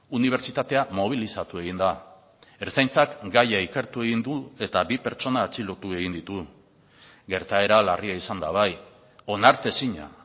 unibertsitatea mobilizatu egin da ertzaintzak gaia ikertu egin du eta bi pertsona atxilotu egin ditu gertaera larria izan da bai onartezina